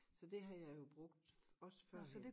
Så det har jeg jo brugt også førhen